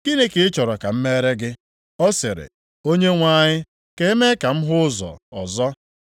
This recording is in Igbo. “Gịnị ka ị chọrọ ka m meere gị?” Ọ sịrị, “Onyenwe anyị, ka e mee ka m hụ ụzọ ọzọ.”